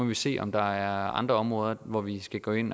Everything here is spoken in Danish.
vi se om der er andre områder hvor vi skal gå ind